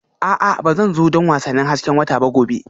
A'a Ba zan zo don wasannin hasken wata ba gobe